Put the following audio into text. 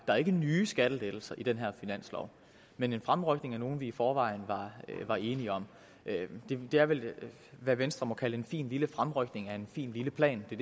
der er ikke nye skattelettelser i den her finanslov men en fremrykning af nogle vi i forvejen var enige om det er vel hvad venstre må kalde en fin lille fremrykning af en fin lille plan det